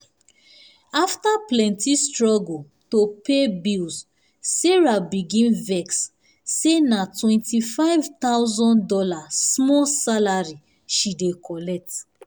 after plenty struggle to pay bills sarah begin vex say na $25000 small salary she dey collect.